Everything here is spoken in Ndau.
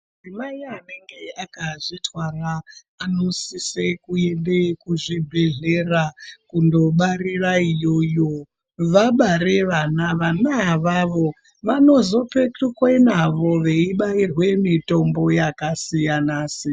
Mai anenge akazvitwara anosisa kuenda kundobarira iyoyo vabara vana vana avavo vanozopetukwa nawo veibairwa mitombo yakasiyana siyana.